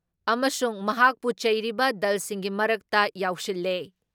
ꯑꯃꯁꯨꯡ ꯃꯍꯥꯛꯄꯨ ꯆꯩꯔꯤꯕ ꯗꯜꯁꯤꯡꯒꯤ ꯃꯔꯛꯇ ꯌꯥꯎꯁꯤꯜꯂꯦ ꯫